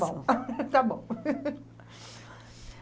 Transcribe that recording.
Está bom, está bom.